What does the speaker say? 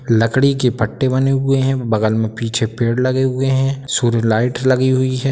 लकड़ी के पट्टे बने हुए हैं बगल में पीछे पेड़ लगे हुए हैं सूर्य लाइट लगी हुई है।